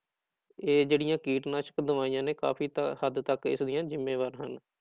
ਇਹ ਜਿਹੜੀਆਂ ਕੀਟਨਾਸ਼ਕ ਦਵਾਈਆਂ ਨੇ ਕਾਫ਼ੀ ਤਾਂ ਹੱਦ ਤੱਕ ਇਸਦੀਆਂ ਜ਼ਿੰਮੇਵਾਰ ਹਨ।